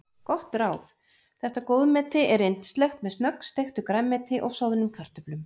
Gott ráð: Þetta góðmeti er yndislegt með snöggsteiktu grænmeti og soðnum kartöflum.